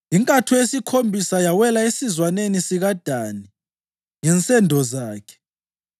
Inkatho yesikhombisa yawela isizwana sikaDani ngensendo zakhe.